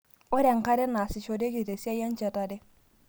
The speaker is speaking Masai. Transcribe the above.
Ore enkare neasishoreki tesiai enchetare.